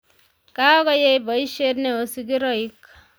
Kagoyey boisiet ne o sigiroik